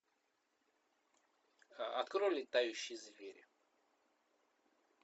открой летающие звери